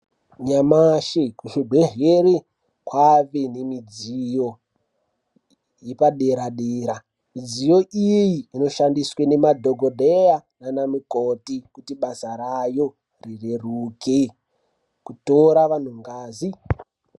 Nyamashi kuzvibhedhleri kwave nemidziyo yepadera dera. Midziyo iyi inoshandiswe nemadhokodheya nanamikoti kuti basa rayo rireruke, kutora vanhu ngazi.